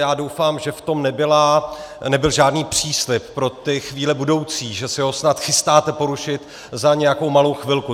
Já doufám, že v tom nebyl žádný příslib pro ty chvíle budoucí, že se ho snad chystáte porušit za nějakou malou chvilku.